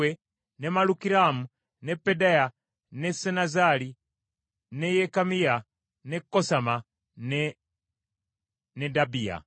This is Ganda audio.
ne Malukiramu, ne Pedaya, ne Senazzali, ne Yekamiya, ne Kosama ne Nedabiya.